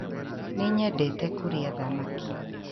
Nĩ nyendete kũrĩa thamaki.